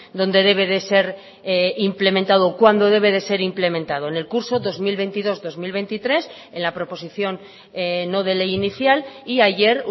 donde debe de ser implementado cuándo debe de ser implementado en el curso dos mil veintidós dos mil veintitrés en la proposición no de ley inicial y ayer